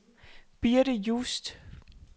Birthe Just